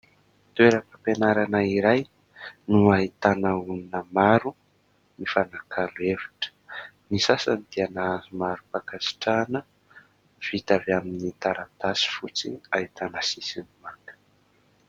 Toeram-pianarana iray no ahitana olona maro mifanakalo hevitra, ny sasany dia nahazo marim-pankasitrahana vita avy amin'ny taratasy fotsy ahitana sisiny manga.